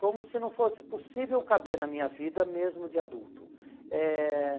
Como se não fosse possível caber na minha vida mesmo de adulto. Eh